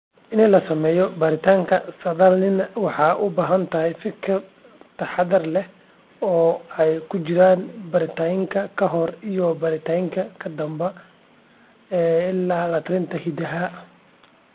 In la sameeyo baaritaanka saadaalinta waxay u baahan tahay fikir taxaddar leh, oo ay ku jiraan baaritaanka ka hor iyo baaritaanka ka dambeeya la-talinta hiddaha.